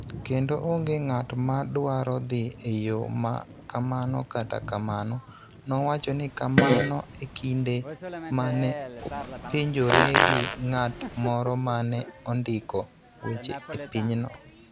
Kendo onge ng�at ma dwaro dhi e yo ma kamano kata kamano, nowacho ni kamano e kinde ma ne openjore gi ng�at moro ma ne ondiko weche e pinyno.